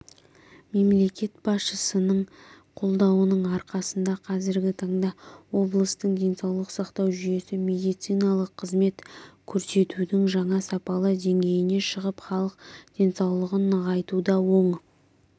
мемлекет басшысының қолдауының арқасында қазіргі таңда облыстың денсаулық сақтау жүйесі медициналық қызмет көрсетудің жаңа сапалы деңгейіне шығып халық денсаулығын нығайтуда оң